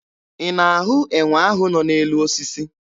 Ị na-ahụ enwe ahụ nọ n'elu osisi?